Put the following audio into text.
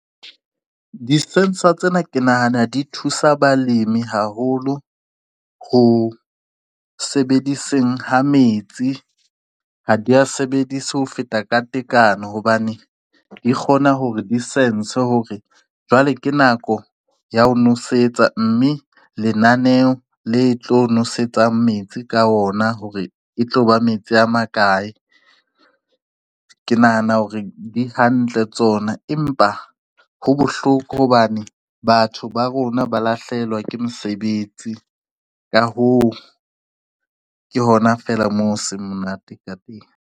Di-sensor tsena ke nahana di thusa balimi haholo ho sebediseng ha metsi. Ha di a sebedise ho feta ka tekano hobane di kgona hore di sense hore jwale ke nako ya ho nosetsa, mme lenaneho le tlo nosetsa metsi ka ona hore e tloba metsi a makae. Ke nahana hore di hantle tsona, empa ho bohloko hobane batho ba rona ba lahlehelwa ke mosebetsi ka hoo ke hona fela mo seng monate ka teng.